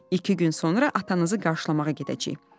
İki gün sonra atanızı qarşılamağa gedəcəyik.